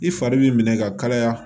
I fari b'i minɛ ka kalaya